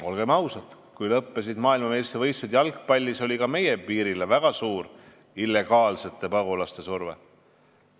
Olgem ausad, kui lõppesid maailmameistrivõistlused jalgpallis, oli ka meie piirile väga suur illegaalsete pagulaste surve.